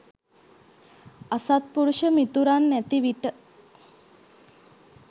අසත්පුරුෂ මිතුරන් නැති විට